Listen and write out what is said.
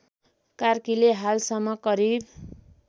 कार्कीले हालसम्म करिब